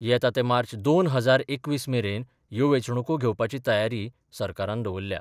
येता ते मार्च दोन हजार एकवीस मेरेन यो वेंचणूको घेवपाची तयारी सरकारान दवरल्या.